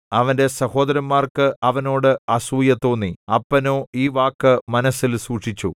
അവന്റെ സഹോദരന്മാർക്ക് അവനോട് അസൂയ തോന്നി അപ്പനോ ഈ വാക്ക് മനസ്സിൽ സൂക്ഷിച്ചു